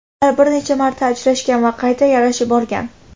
Ular bir necha marta ajrashgan va qayta yarashib olgan.